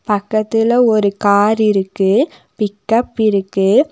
பக்கத்துல ஒரு கார் இருக்கு பிக்கப் இருக்கு.